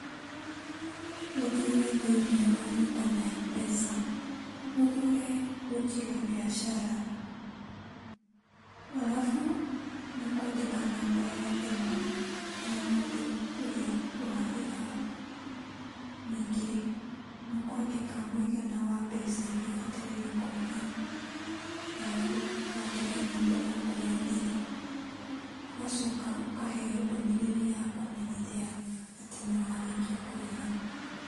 Ũthiĩ thĩiniĩ wa Lipa na Mpesa, ũthure Pochi na Mpesa, arabu nĩũkwandĩka nambaa ya thimũ ya mũndũ ũr'ĩa ũrarĩha. Ningĩ nĩũkwandĩka mũigana wambeca iria ũbataire kũrĩha, arabu wandĩke namba yaku ya thiri. Ũgacoka ũkaheo ndũmĩrĩri ya kũmenyithia atĩ nĩwarĩkia kũrĩha.